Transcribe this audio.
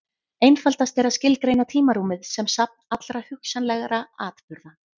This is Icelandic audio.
Einfaldast er að skilgreina tímarúmið sem safn allra hugsanlegra atburða.